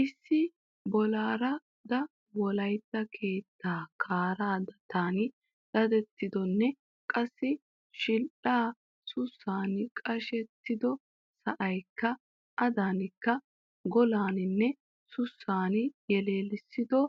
Issi bollardawolaitta keettaa kaaraa dattan dadettidonne qassi shidhdha sussaan qashettido sa'aykka adaanikka gollaaninne sussaan yalisettido